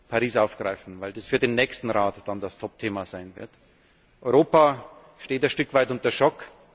ich Paris aufgreifen, weil das für den nächsten Rat dann das Topthema sein wird. Europa steht ein Stück weit unter